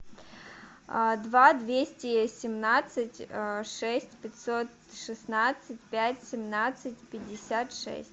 два двести семнадцать шесть пятьсот шестнадцать пять семнадцать пятьдесят шесть